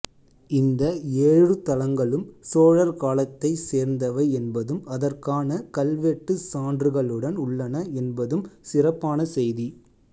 இந்த ஏழுர்த்தலங்களும் சோழர் காலத்தைச் சேர்ந்தவை என்பதும் அதற்கான கல்வெட்டுச் சான்றுகளுடன் உள்ளன என்பதும் சிறப்பான செய்தி